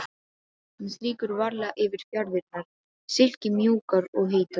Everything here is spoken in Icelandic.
Hann strýkur varlega yfir fjaðrirnar, silkimjúkar og heitar.